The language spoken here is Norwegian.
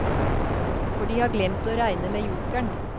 For de har glemt å regne med jokeren.